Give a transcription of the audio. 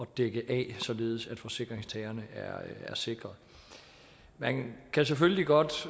dække af således at forsikringstagerne er sikret man kan selvfølgelig godt